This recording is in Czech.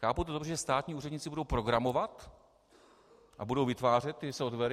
Chápu to dobře, že státní úředníci budou programovat a budou vytvářet ty softwary?